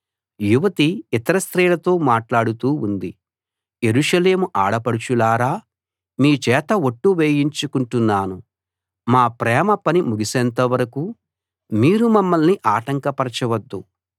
యువతి ఇతర స్త్రీలతో మాట్లాడుతూ ఉంది యెరూషలేము ఆడపడుచులారా మీచేత ఒట్టు వేయించుకుంటున్నాను మా ప్రేమ పని ముగిసేంత వరకూ మీరు మమ్మల్ని ఆటంకపరచవద్దు